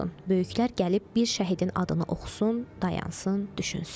Böyüklər gəlib bir şəhidin adını oxusun, dayansın, düşünsün.